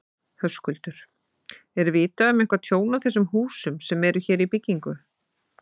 Höskuldur: Er vitað um eitthvað tjón á þessum húsum sem eru hér í byggingu?